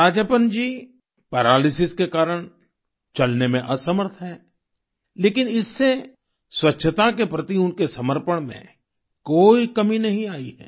Rajappan ji paralysis के कारण चलने में असमर्थ हैं लेकिन इससे स्वच्छता के प्रति उनके समर्पण में कोई कमी नहीं आई है